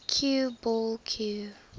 cue ball cue